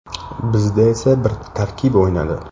Bizda esa bir tarkib o‘ynadi.